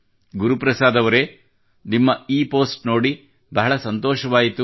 ಗುರುಪ್ರಸಾದ್ ಅವರೇ ನಿಮ್ಮ ಈ ಪೋಸ್ಟ್ ಓದಿ ಬಹಳ ಸಂತೋಷವಾಯಿತು